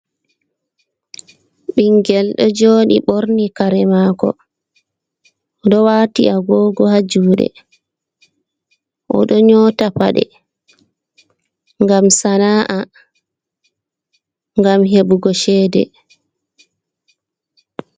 Ɓingel ɗo joɗi ɓorni kare mako ɗo wati agogo ha juɗe oɗo nyota paɗe gam sana’a gam heɓugo chede.